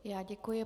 Já děkuji.